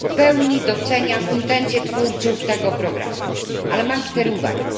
Ja w pełni doceniam intencje twórców tego programu, ale mam cztery uwagi.